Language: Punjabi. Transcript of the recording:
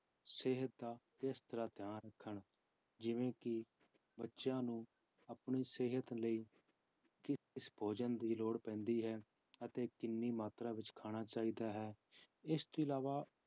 ਸਿਹਤ ਦਾ ਕਿਸ ਤਰ੍ਹਾਂ ਧਿਆਨ ਰੱਖਣ ਜਿਵੇਂ ਕਿ ਬੱਚਿਆਂ ਨੂੰ ਆਪਣੀ ਸਿਹਤ ਲਈ ਕਿਸ ਕਿਸ ਭੋਜਨ ਦੀ ਲੋੜ ਪੈਂਦੀ ਹੈ ਅਤੇ ਕਿੰਨੀ ਮਾਤਰਾ ਵਿੱਚ ਖਾਣਾ ਚਾਹੀਦਾ ਹੈ, ਇਸ ਤੋਂ ਇਲਾਵਾ